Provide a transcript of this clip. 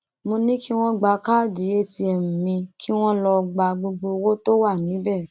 mo ní kí wọn gba káàdì atm mi kí wọn lọọ gba gbogbo owó tó wà níbẹ